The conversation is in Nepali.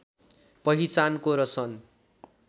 पहिचानको र सन्